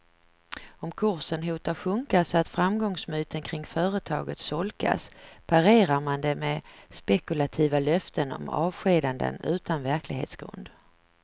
Om kursen hotar sjunka så att framgångsmyten kring företaget solkas, parerar man det med spekulativa löften om avskedanden utan verklighetsgrund.